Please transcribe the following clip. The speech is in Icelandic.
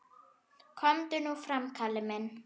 Komdu nú fram, Kalli minn!